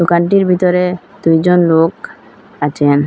দোকানটির ভিতরে দুইজন লোক আছেন।